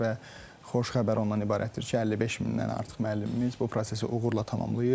Və xoş xəbər ondan ibarətdir ki, 55 mindən artıq müəllimimiz bu prosesi uğurla tamamlayıb.